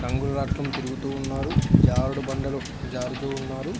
రంగులరాట్నం తిరుగుతూ ఉన్నారు. జారుడు బండలు జారుతూ ఉన్నారు.